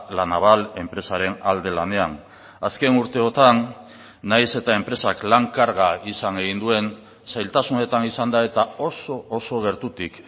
la naval enpresaren alde lanean azken urteotan nahiz eta enpresak lan karga izan egin duen zailtasunetan izan da eta oso oso gertutik